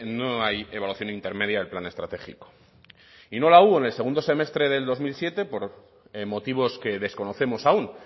no hay evaluación intermedia del plan estratégico y no la hubo en el segundo semestre del dos mil siete por motivos que desconocemos aun